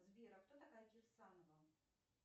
сбер а кто такая кирсанова